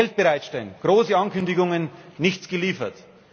Geld bereitstellen große Ankündigungen, nichts geliefert.